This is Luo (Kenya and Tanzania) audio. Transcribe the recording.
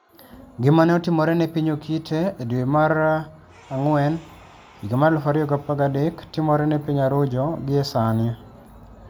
Gima ne otimore ne piny Okite e dwe mar dwe mara ngwen 2013, timore ne piny Arujo gie sani.